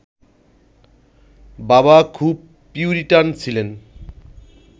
বাবা খুব পিউরিটান ছিলেন